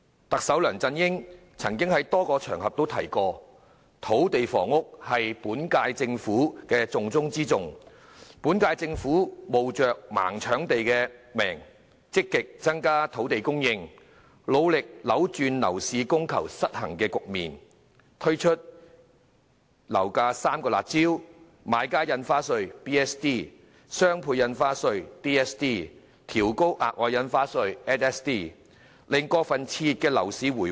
特首梁振英曾在多個場合提及，土地房屋是本屆政府的"重中之重"，本屆政府冒着"盲搶地"的批評，積極增加土地供應，努力扭轉樓市供求失衡的局面，並推出遏抑樓價的3項"辣招"，包括買家印花稅、雙倍印花稅和調高額外印花稅，令過分熾熱的樓市回穩。